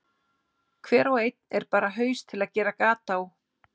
Hver og einn er bara haus til að gera gat á.